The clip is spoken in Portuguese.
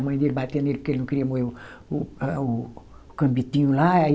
A mãe dele batia nele porque ele não queria moer o o, ah o cambitinho lá, aí...